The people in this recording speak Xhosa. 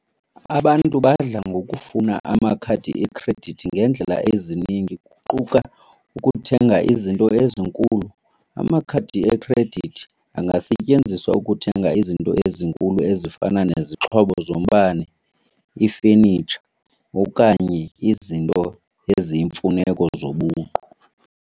Abantu badla ngokufuna amakhadi ekhredithi ngeendlela ezininzi kuquka ukuthenga izinto ezinkulu. Amakhadi ekhredithi angasetyenziswa ukuthenga izinto ezinkulu ezifana nezixhobo zombane, ifenitsha okanye izinto eziyimfuneko zobuqu.